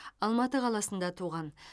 алматы қаласында туған